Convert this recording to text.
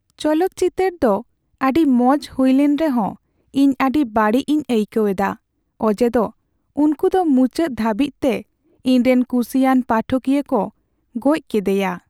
ᱪᱚᱞᱚᱛ ᱪᱤᱛᱟᱹᱨ ᱫᱚ ᱟᱹᱰᱤ ᱢᱚᱡ ᱦᱩᱭ ᱞᱮᱱ ᱨᱮᱦᱚᱸ ᱤᱧ ᱟᱹᱰᱤ ᱵᱟᱹᱲᱤᱡᱽᱤᱧ ᱟᱹᱭᱠᱟᱹᱣ ᱮᱫᱟ ᱚᱡᱮ ᱫᱚ ᱩᱝᱠᱩ ᱫᱚ ᱢᱩᱪᱟᱹᱫ ᱫᱷᱟᱹᱵᱤᱡᱛᱮ ᱤᱧᱨᱮᱱ ᱠᱩᱥᱤᱭᱟᱱ ᱯᱟᱴᱷᱚᱠᱤᱭᱟᱹ ᱠᱚ ᱜᱚᱡ ᱠᱮᱫᱟᱭᱟ ᱾